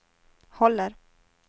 håller